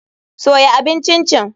Soya abin Chin chin.